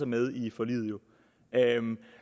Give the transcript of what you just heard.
med i forliget